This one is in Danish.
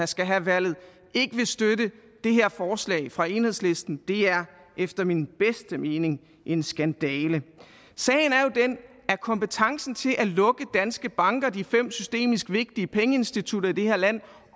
skal have valget ikke vil støtte det her forslag fra enhedslisten er efter min bedste mening en skandale sagen er jo den at kompetencen til at lukke danske banker de fem systemisk vigtige pengeinstitutter i det her land